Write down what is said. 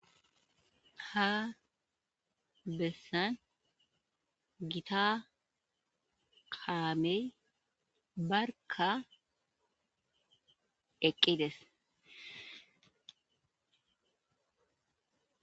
ha bessan gita kaamey barka eqqides